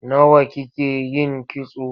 Nawa kike yin kitso?